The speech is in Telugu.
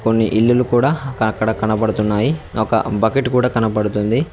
కొన్ని ఇల్లులు కూడా ఇంకా అక్కడ కనబడుతున్నాయి ఒక బకెట్ కూడా కనపడుతుంది.